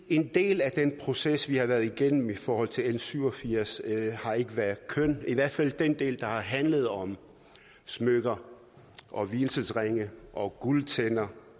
en del af den proces vi har været igennem i forhold til l syv og firs ikke har været køn i hvert fald den del der har handlet om smykker og vielsesringe og guldtænder